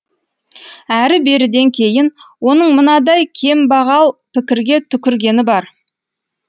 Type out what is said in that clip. әрі беріден кейін оның мынадай кембағал пікірге түкіргені бар